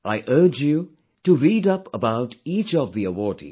I urge you to read up about each of the awardees